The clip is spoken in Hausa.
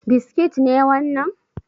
Biskit ne wannan?